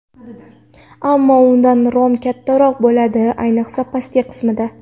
Ammo unda rom kattaroq bo‘ladi, ayniqsa pastki qismida.